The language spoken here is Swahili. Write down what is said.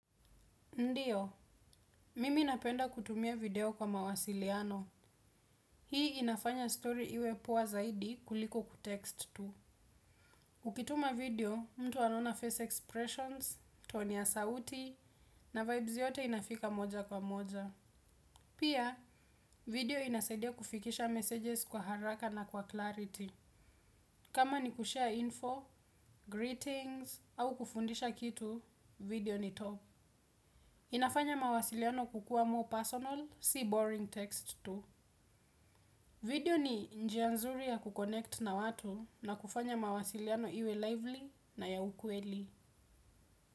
Ndiyo, mimi napenda kutumia video kwa mawasiliano. Hii inafanya story iwe poa zaidi kuliko kutext tu. Ukituma video, mtu anaona face expressions, toni ya sauti, na vibes yote inafika moja kwa moja. Pia, video inasadia kufikisha messages kwa haraka na kwa clarity. Kama ni kushare info, greetings, au kufundisha kitu, video ni top. Inafanya mawasiliano kukua more personal, si boring text tu. Video ni njia nzuri ya ku connect na watu na kufanya mawasiliano iwe lively na ya ukweli.